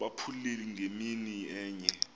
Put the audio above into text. abupheli ngemini enye